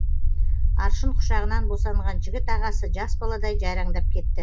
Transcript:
аршын құшағынан босанған жігіт ағасы жас баладай жайраңдап кетті